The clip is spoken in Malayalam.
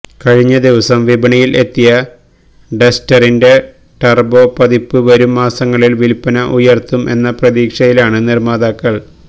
കഴിഞ്ഞ ദിവസം വിപണിയില് എത്തിയ ഡസ്റ്ററിന്റെ ടര്ബോ പതിപ്പ് വരും മാസങ്ങളില് വില്പ്പന ഉയര്ത്തും എന്ന പ്രതീക്ഷയിലാണ് നിര്മ്മാതാക്കള്